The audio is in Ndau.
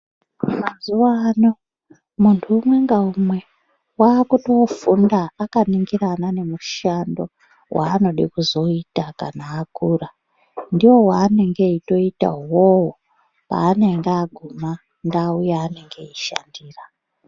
Mazuwa ano muntu umwe ngaumwe wakutofunda akaningirana nemushando waanoda kuzoita kana akura ndiwo waanenge eitoita iwowo paanenge aguma ndau yaanenge eishandira.